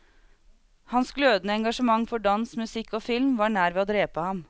Hans glødende engasjement for dans, musikk og film var nær ved å drepe ham.